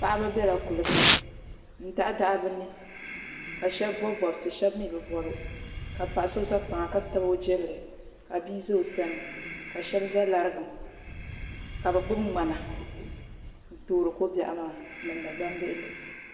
Paɣaba biɛla kuligi ni n daɣadaɣa bi ni ka shab bob bobsi shab mii bi bob ka paɣa so ʒɛ kpaŋa ka tabi o jirili ka bia ʒɛ o sani ka shab ʒɛ larigim ka bi gbuni ŋmana n toori ko biɛɣu maa n niŋdi gbambihi ni